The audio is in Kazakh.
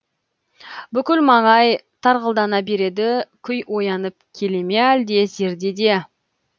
бүкіл маңай тарғылдана береді күй оянып келе ме әлде зердеде